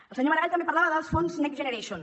el senyor maragall també parlava dels fons next generation